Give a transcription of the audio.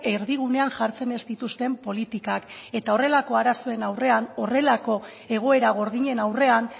erdigunean jartzen ez dituzten politikak eta horrelako arazoen aurrean horrelako egoera gordinen aurrean